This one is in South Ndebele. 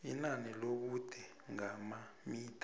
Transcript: inani lobude ngamamitha